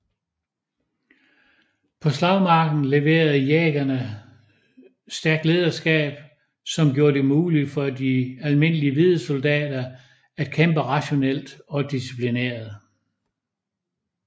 På slagmarken leverede Jägerne stærkt lederskab som gjorde det muligt for de almindelige hvide soldater at kæmpe rationelt og disciplineret